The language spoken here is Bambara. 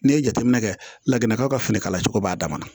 N'i ye jateminɛ kɛ lakanakaw ka finikala cogo b'a dama na